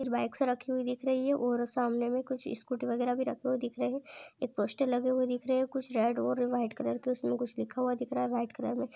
कुछ बाईक्स राखी हुई दिख रही है और सामने मे कुछ स्कूटी वगेरा भि दिख रही है पोस्टर लगे हुए दिख रहे है कुछ रेड और वाईट कलर के उसमे कुछ लिखा हुआ दिख रहा है।